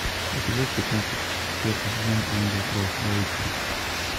эпизод пятнадцать четвертый сезон ангел кровопролития